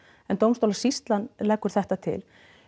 en dómstólasýslan leggur þetta til